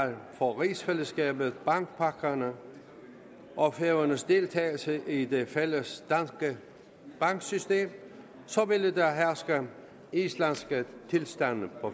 for rigsfællesskabet bankpakkerne og færøernes deltagelse i det fælles danske banksystem ville der herske islandske tilstande på